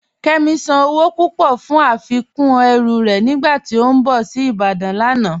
Kẹmi sán owó púpọ̀ fún afikún ẹ̀rù rẹ̀ nígbàtí ó n bọ̀ sí Ìbàdàn lánà.